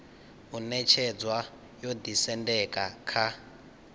u ṅetshedzwa yo ḓisendeka kha